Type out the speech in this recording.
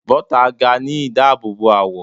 Bota ga ni idaabobo awọ